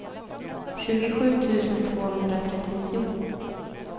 tjugosju tusen tvåhundratrettionio